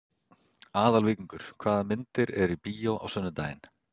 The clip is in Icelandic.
Aðalvíkingur, hvaða myndir eru í bíó á sunnudaginn?